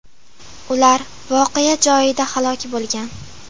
Ular voqea joyida halok bo‘lgan.